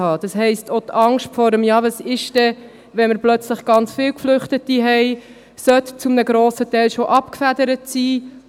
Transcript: Das heisst auch, dass die Angst vor dem «Wie ist es denn, wenn wir plötzlich ganz viele Geflüchtete haben?» zu einem grossen Teil abgefedert sein sollte.